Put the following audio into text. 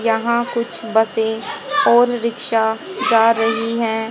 यहां कुछ बसें और रिक्शा जा रही है।